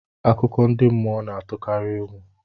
Akụkọ ndị mmụọ na-atụkarị egwu